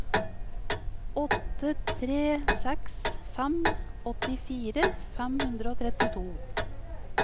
åtte tre seks fem åttifire fem hundre og trettito